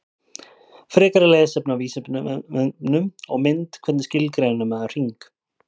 Frekara lesefni á Vísindavefnum og mynd Hvernig skilgreinir maður hring?